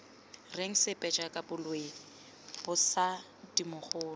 reng sepe jaaka boloi mosadimogolo